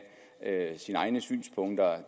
egne synspunkter